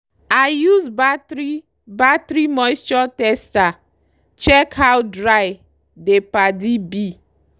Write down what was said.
i use battery battery moisture tester check how dry dey paddy be.